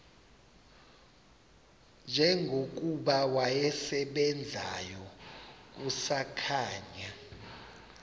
njengokuba wasebenzayo kusakhanya